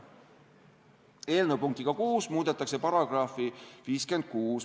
Eelnõu punktiga 6 muudetakse § 56.